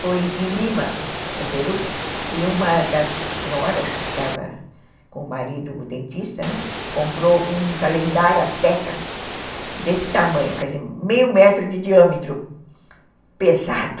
Foi em Lima, no Peru, e uma das senhoras que estava com o marido, o dentista, comprou um calendário azteca desse tamanho, quer dizer, meio metro de diâmetro, pesado.